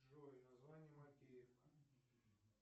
джой название макеевка